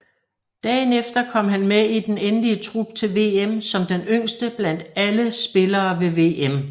Dagen efter kom han med i den endelige trup til VM som den yngste blandt alle spillere ved VM